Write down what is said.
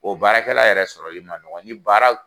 O baara kɛla yɛrɛ sɔrɔ man nɔgɔn ni baaraw